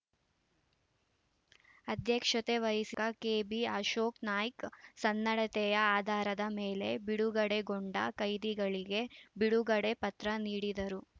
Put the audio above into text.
ಅಧ್ಯಕ್ಷತೆ ವಹಿಸ್ಕ ಶಾಸಕ ಕೆಬಿಅಶೋಕನಾಯ್ಕ ಸನ್ನಡತೆಯ ಆಧಾರದ ಮೇಲೆ ಬಿಡುಗಡೆಗೊಂಡ ಕೈದಿಗಳಿಗೆ ಬಿಡುಗಡೆ ಪತ್ರ ನೀಡಿದರು